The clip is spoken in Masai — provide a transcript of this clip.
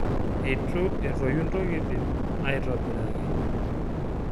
Etu etoyu ntokitin aitobiraki.